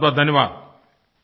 बहुतबहुत धन्यवाद